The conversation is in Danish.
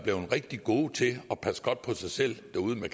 blevet rigtig gode til at passe godt på sig selv derude med